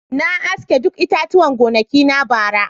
Na sare duk itatuwan gonakina bara.